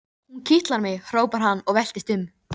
Að færa lífsskilyrði fatlaðra í eðlilegt horf.